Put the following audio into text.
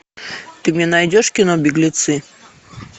ты мне найдешь кино беглецы